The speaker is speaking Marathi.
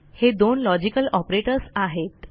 हे दोन लॉजिकल ऑपरेटर्स आहेत